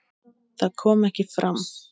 Það kom ekki fram.